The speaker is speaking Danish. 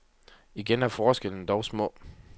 Igen er forskellene dog små.